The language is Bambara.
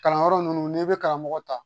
Kalanyɔrɔ ninnu n'i bɛ karamɔgɔ ta